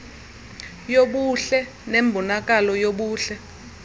yobuhle nembonakalo yobuhle